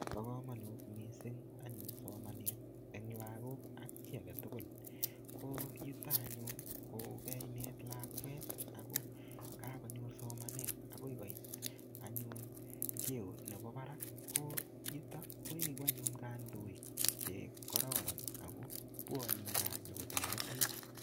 Bo komonut anyun somanet eng lagok ak chito agetugul. Ko yuto anyun ko kainet lakwet akoi koit cheo ne mi barak ko bwoni anyun gaa nyokotoretech.